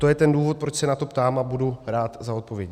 To je ten důvod, proč se na to ptám, a budu rád za odpověď.